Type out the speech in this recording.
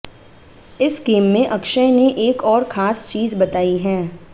इस गेम में अक्षय ने एक और खास चीज बताई है